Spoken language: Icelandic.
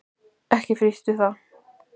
Ekki frítt við það!